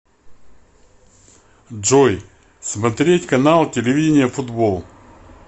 джой смотреть канал телевидения футбол